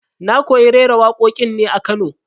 Na koyi raira waƙoƙin ne a Kano